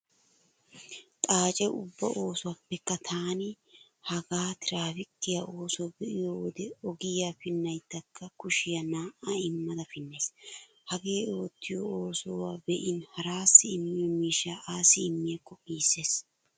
Xaace ubbaa oosuwappekka taani hagaa tiraafikkiya oosuwa be'iyo wode ogiya pinnayddakka kushiya naa"a immada pinnays. Hagee oottiyo oosuwa be'in haraassi immiyo miishsha assi immiyaakko giissees.